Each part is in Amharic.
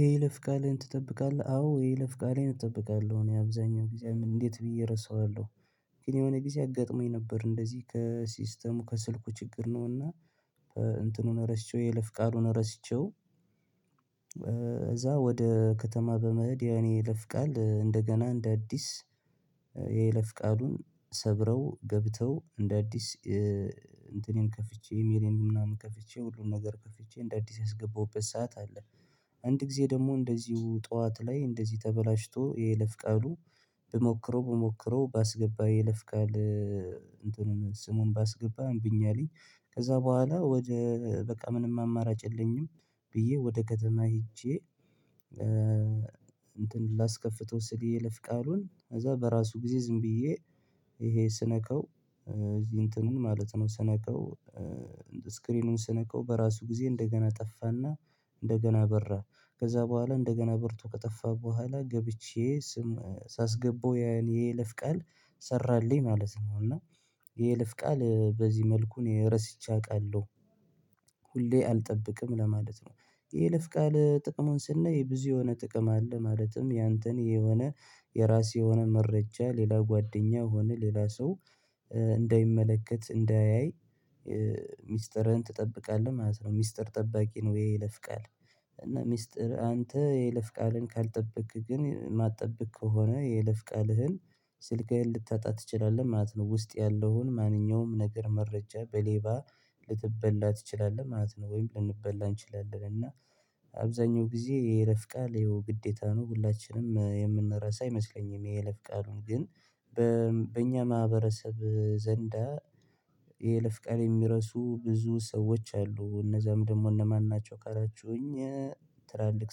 የይለፍቃልህን ትጠብቃለህ አዎ የይለፍቃሌን እጠብቃለሁ እኔ አብዛኛው ጊዜ እንዴት ብዬ እረሳዋለሁ። ግን የሆነ ጊዜ አጋጥሞኝ ነበር እንደዚህ ከሲስተሙ ከስልኩ ችግር ነውና። በእንትኑን ረሽቼ የለፍ ቃሉን ረሽተው። እዛ ወደ ከተማ በመሄድ የኔ የይለፍቃል እንደገና እንደ አዲስ የየለፍ ቃሉን ሰብረው ገብተው እንደ አዲስ እንትኔን ከፍቼ ኢሜሌን ምናምን ከፍቼ ሁሉን ነገር ከፍቼ እንደ አዲስ ያስገባሁበት ሰዓት አለ። አንድ ጊዜ ደግሞ እንደዚሁ ጠዋት ላይ እንደዚህ ተበላሽቶ የለፍ ቃሉ። ብሞክረው ብሞክረው ባስገባ ይለፍቃል። እንትኑን ስሙን ባስገባ እምቢኛልኝ። ከዛ በኋላ ወደ በቃ ምንም አማራጭ የለኝም። ብዬ ወደ ከተማ ሄጄ። እንትን ላስከፍተው ስልዬ ለፍቃሉን ከዛ በራሱ ጊዜ ዝም ብዬ ይሄ ስነካው እዚህ እንትኑን ማለት ነው። ስነካው ስክሪኑን ስነካው በራሱ ጊዜ እንደገና ጠፋና። እንደገና በራ። ከዛ በኋላ እንደገና ብርቱ ከጠፋ በኋላ ገብቼ ስም ሳስገባው የኔ ለፍቃል ሰራልኝ ማለት ነው። እና የልፍ ቃል በዚህ መልኩ እኔ ረስቼ አውቃለሁ። ሁሌ አልጠብቅም ለማለት ነው። የይለፍቃል ጥቅሙን ስናይ የብዙ የሆነ ጥቅም አለ ማለትም ያንተን የሆነ የራሴ የሆነ መረጃ ሌላ ጓደኛ ሆነ ሌላ ሰው እንዳይመለከት እንዳያይ ሚስጥርህን ትጠብቃለህ ማለት ነው ሚስጥር ጠባቂ ነው የይለፍ ቃል። እና ሚስጥር አንተ የለፍ ቃልን ካልጠበቅክ ግን ማትጠብቅ ከሆነ የለፍ ቃልህን ስልክህን ልታጣ ትችላለህ ማለት ነው። ውስጥ ያለውን ማንኛውም ነገር መረጃ በሌባ ልትበላ ትችላለህ ማለት ነው ወይም ልንበላ እንችላለን እና። አብዛኛው ጊዜ የይለፍ ቃል ይኸው ግዴታ ነው ሁላችንም የምንረሳ አይመስለኝም የይለፍ ቃሉን ግን በእኛ ማህበረሰብ ዘንዳ የይለፍቃል የሚረሱ ብዙ ሰዎች አሉ እነዛም ደግሞ እነማን ናቸው ካላችሁኝ? ትላልቅ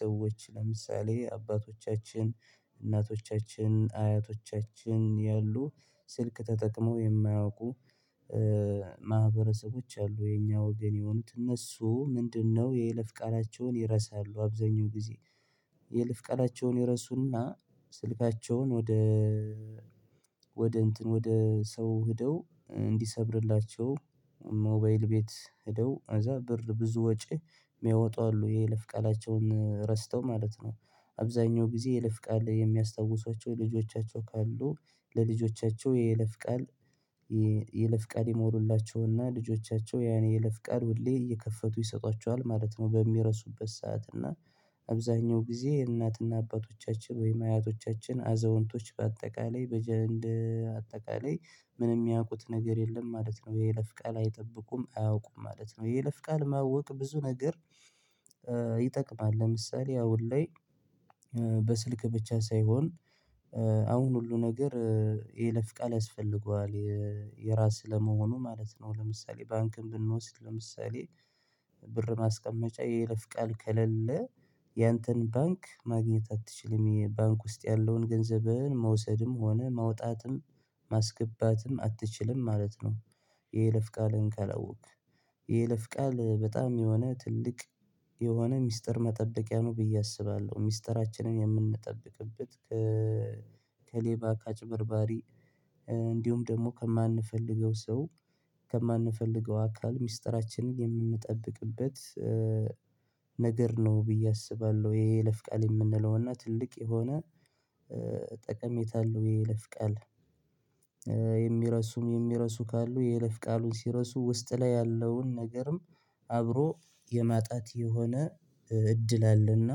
ሰዎች ለምሳሌ አባቶቻችን እናቶቻችን አያቶቻችን ያሉ ስልክ ተጠቅሞ የማያውቁ ማህበረሰቦች አሉ የኛ ወገን የሆኑት እነሱ ምንድነው የይለፍ ቃላቸውን ይረሳሉ አብዛኛው ጊዜ። የለፍ ቃላቸውን ይረሱና ስልካቸውን ወደ ወደ እንትን ወደ ሰው ሄደው እንዲሰብርላቸው ሞባይል ቤት ሄደው እዛ ብር ብዙ ወጪ የሚያወጡ አሉ የለፍቃላቸውን ረስተው ማለት ነው። አብዛኛው ጊዜ የለፍ ቃል የሚያስታውሷቸው ልጆቻቸው ካሉ ለልጆቻቸው የለፍቃል የለፍቃል የሞሉላቸውና ልጆቻቸው ያን የለፍቃል ሁሌ እየከፈቱ ይሰጧቸዋል ማለት ነው። በሚረሱበት ሰዓት እና አብዛኛው ጊዜ የእናትና አባቶቻችን ወይም አያቶቻችን አዛውንቶች በአጠቃላይ በአጠቃላይ ምንም ያውቁት ነገር የለም ማለት ነው የለፍቃል አይጠብቁም አያውቁም ማለት ነው። የለፍቃል ማወቅ ብዙ ነገር ይጠቅማል ለምሳሌ አሁን ላይ በስልክ ብቻ ሳይሆን አሁን ሁሉ ነገር የለፍቃል ያስፈልገዋል። የራስህ ለመሆኑ ማለት ነው ለምሳሌ ባንክን ብንወስድ ለምሳሌ ብር ማስቀመጫ የይለፍ ቃል ከሌለ ያንተን ባንክ ማግኘት አትችልም ይሄ ባንክ ውስጥ ያለውን ገንዘብህን መውሰድም ሆነ መውጣትም ማስገባትም አትችልም ማለት ነው። የይለፍቃልህን ካላወክ የይለፍቃል በጣም የሆነ ትልቅ የሆነ ሚስጥር መጠበቂያ ነው ብዬ አስባለሁ ሚስጥራችንን የምንጠብቅበት። ከሌባ ካጭበርባሪ እንዲሁም ደግሞ ከማንፈልገው ሰው ከማንፈልገው አካል ሚስጥራችንን የምንጠብቅበ ነገር ነው ብዬ አስባለሁ። የይለፍቃል የምንለውና ትልቅ የሆነ አለው የይለፍ ቃል የሚረሱም የሚረሱ ካሉ የይለፍ ቃሉን ሲረሱ ውስጥ ላይ ያለውን ነገርም አብሮ የማጣት የሆነ እድል አለና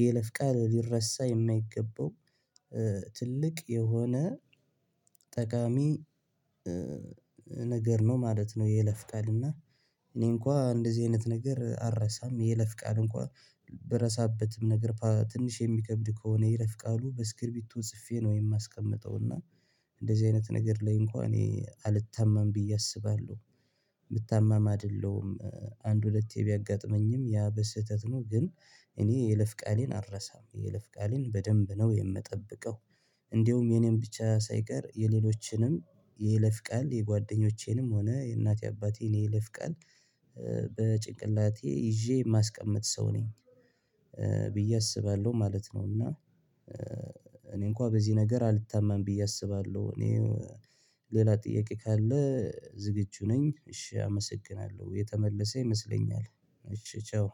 የይለፍቃል ሊረሳ የማይገባው ትልቅ የሆነ ጠቃሚ ነገር ነው ማለት ነው። የይለፍቃል እና እኔ እንኳን እንደዚህ አይነት ነገር አልረሳም። የይለፍቃል እንኳን በረሳበትም ነገር ትንሽ የሚከብድ ከሆነ የይለፍቃሉ በስክሪቢቶ ጽፌ ነው የማስቀምጠው እና እንደዚህ አይነት ነገር ላይ እንኳን እኔ አልታመም ብዬ አስባለሁ። የምታማማድለውም አንድ ሁለቴ ቢያጋጥመኝም ያ በስህተት ነው ግን እኔ የለፍ ቃሌን አልረሳም የለፍ ቃሌን በደንብ ነው የምጠብቀው። እንደውም የኔን ብቻ ሳይቀር የሌሎችንም የይለፍ ቃል የጓደኞቼንም ሆነ የእናቴ አባቴን የይለፍ ቃል በጭንቅላቴ ይዤ የማስቀምጥ ሰው ነኝ ብዬ አስባለሁ ማለት ነው። እና እኔ እንኳን በዚህ ነገር አልታመም ብዬ አስባለሁ እኔ ሌላ ጥያቄ ካለ ዝግጁ ነኝ። እሺ አመሰግናለሁ የተመለሰ ይመስለኛል። እሺ ቻው